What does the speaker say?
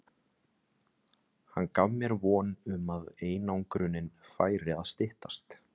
Hann gaf mér von um að einangrunin færi að styttast.